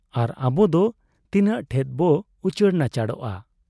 ᱟᱨ ᱟᱵᱚᱫᱚ ᱛᱤᱱᱟᱹᱜ ᱴᱷᱮᱫ ᱵᱚ ᱩᱪᱟᱹᱲ ᱱᱟᱪᱟᱲᱚᱜ ᱟ?